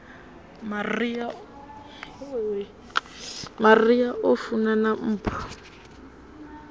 maria o funana na mpho